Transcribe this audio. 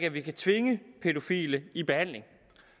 at vi kan tvinge pædofile i behandling